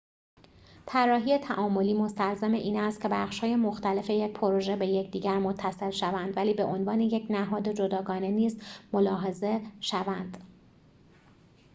طراحی تعاملی مستلزم این است که بخش‌های مختلف یک پروژه به یکدیگر متصل شوند ولی به عنوان یک نهاد جداگانه نیز ملاحظه شوند